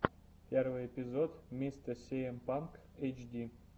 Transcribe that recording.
первый эпизод мистэ сиэм панк эйтчди